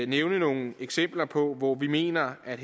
nævne nogle eksempler på hvor vi mener at